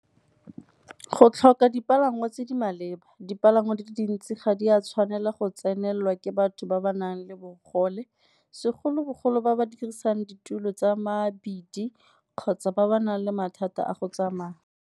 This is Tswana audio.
Go tlhoka dipalangwa tse di maleba, dipalangwa di le dintsi ga di a tshwanela go tsenelelwa ke batho ba ba nang le bogole segolobogolo ba ba dirisang ditulo tsa mabidi kgotsa ba ba nang le mathata a go tsamaya.